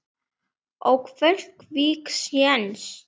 Á Keflavík séns?